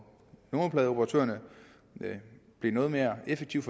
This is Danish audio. numerpladeoperatørerne blev noget mere effektivt